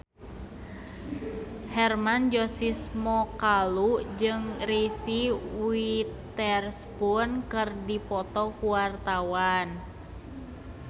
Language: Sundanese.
Hermann Josis Mokalu jeung Reese Witherspoon keur dipoto ku wartawan